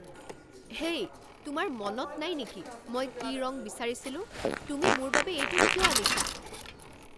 হেই, তোমাৰ মনত নাই নেকি মই কি ৰং বিচাৰিছিলোঁ? তুমি মোৰ বাবে এইটো কিয় আনিছা?